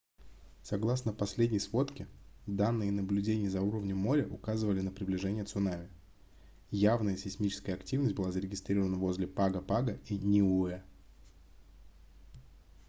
согласно последней сводке данные наблюдений за уровнем моря указывали на приближение цунами явная сейсмическая активность была зарегистрирована возле паго-паго и ниуэ